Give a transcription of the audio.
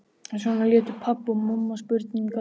Svona létu pabbi og mamma spurningarnar dynja á henni.